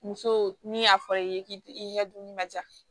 Muso ni y'a fɔ i ye k'i i ka dumuni ma ja